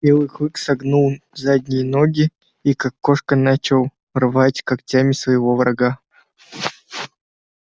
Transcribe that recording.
белый клык согнул задние ноги и как кошка начал рвать когтями своего врага